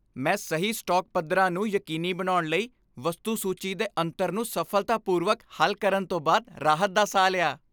ਮੈਂ ਸਹੀ ਸਟਾਕ ਪੱਧਰਾਂ ਨੂੰ ਯਕੀਨੀ ਬਣਾਉਣ ਲਈ, ਵਸਤੂ ਸੂਚੀ ਦੇ ਅੰਤਰ ਨੂੰ ਸਫ਼ਲਤਾਪੂਰਵਕ ਹੱਲ ਕਰਨ ਤੋਂ ਬਾਅਦ ਰਾਹਤ ਦਾ ਸਾਹ ਲਿਆ